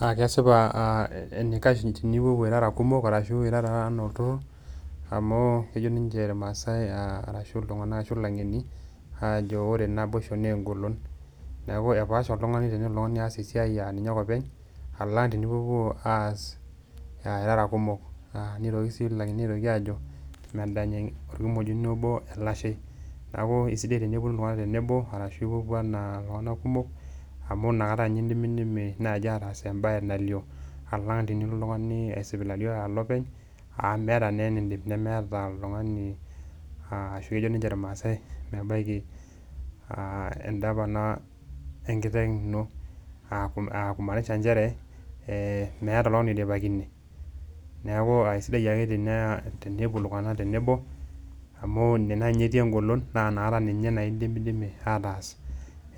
Naa kesipa enaikash tenipopuo irara kumok arashu irara enaa olturur amu kejo ninje irmaasai arashu iltung'anak arashu ilang'eni aajo ore naboisho nee ng'olon. Neeku epaasha oltung'ani tenelo oltung'ani aas esiai a ninye ake openy alang' tenipopuo aas aa irara kumok. Aa nitoki sii iang'eni aitoki aajo medany orkimojino obo elashei, neeku esidai teneponu iltung'anak tenebo arashu ipopuo enaa iltung'anak amu inakata nye indimidimi naaji ataas embaye nalio alang' tenilo oltung'ani aisipilali alo openy amu meeta naa eniindim nemeeta oltung'ani aa ashu ejo ninje irmaasai mebaiki aa endapana enkiteng' ino aaku aa kumaanisha njere ee meeta oltung'ani oidipakine. Neeku aa sidai ake tenepuo iltung'anak tenebo amu ine naa eti eng'olon naa inakata naa ninye indimidimi ataa